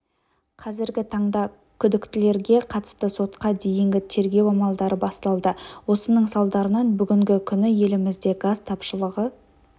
қазіргі таңда күдіктілерге қатысты сотқа дейінгі тергеу амалдары басталды осының салдарынан бүгінгі күні елімізде газ тапшылығы